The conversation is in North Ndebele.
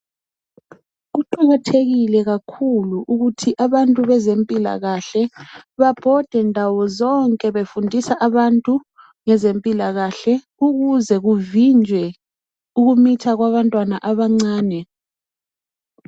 Kuqakathekile kakhulu ukuthi abantu abezempilakahle babhode ndawo zonke befundisa abantu ngezempilakahle ukuze kuvinjwe ukumitha kwabatwana abancane